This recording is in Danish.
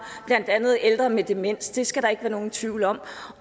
blandt andet ældre med demens det skal der ikke være nogen tvivl om